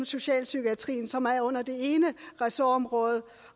socialpsykiatrien som er under det ene ressortområde